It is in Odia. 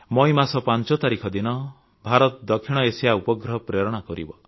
ମଇ ମାସ ୫ ତାରିଖ ଦିନ ଭାରତ ଦକ୍ଷିଣ ଏସିଆ ଉପଗ୍ରହ ପ୍ରେରଣ କରିବ